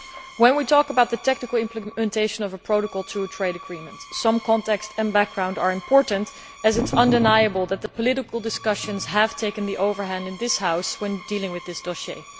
When we talk about the technical implementation of a protocol to a trade agreement, some context and background are important, as it is undeniable that the political discussions have taken the upper hand in this House when dealing with this dossier.